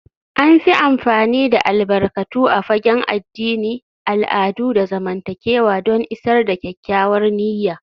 An fi amfani da albarkatu a fagen addini, al'adu, da zamantakewa don isar da kyakkyawar niyya